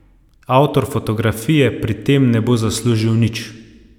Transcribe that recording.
Avtor fotografije pri tem ne bo zaslužil nič.